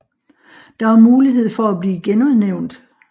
Der er mulighed for at blive genudnævnt